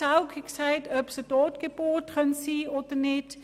Zaugg hat gefragt, ob es eine Totgeburt sein könnte oder nicht.